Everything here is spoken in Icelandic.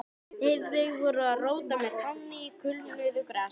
Heiðveig voru að róta með tánni í kulnuðu grasinu.